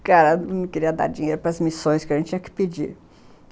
O cara não queria dar dinheiro para as missões que a gente tinha que pedir.